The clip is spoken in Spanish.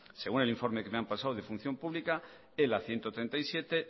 según el informe que me han pasado de función pública ela ciento treinta y siete